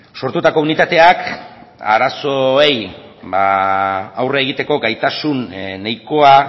sortutako unitateak arazoei aurre egiteko gaitasun nahikoa